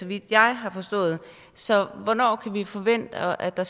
vidt jeg har forstået så hvornår kan vi forvente at der